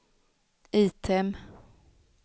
item